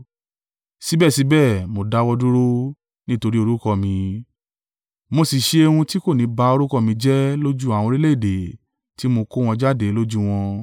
Síbẹ̀síbẹ̀ mo dáwọ́ dúró, nítorí orúkọ mi, mo sì ṣe ohun tí kò ní ba orúkọ mi jẹ́ lójú àwọn orílẹ̀-èdè ti mo kó wọn jáde lójú wọn.